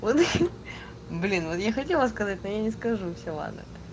блин вот я хотела сказать но я не скажу все ладно